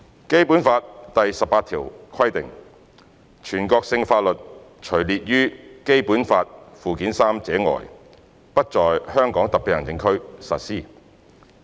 《基本法》第十八條規定，"全國性法律除列於本法附件三者外，不在香港特別行政區實施。